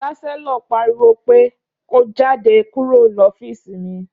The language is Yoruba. Ṣàsẹlọ pàríwó pẹ kó; Jàdé kúrò lọfísì mí!